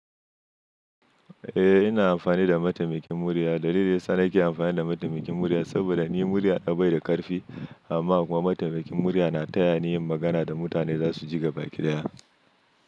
Eh ina amfani da mataimakin murya. Dalilin sa nake amfani da mataimakin murya saboda ni murya ta bai da ƙarfi amma kuma mataimakin murya na taya ni yin magana da mutane zasu ji gaba ki ɗaya.